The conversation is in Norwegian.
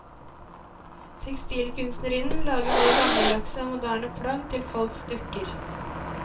Tekstilkunstnerinnen lager både gammeldagse og moderne plagg til folks dukker.